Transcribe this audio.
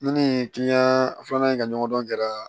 Ne ni kiliyan filanan in ka ɲɔgɔn dɔn kɛra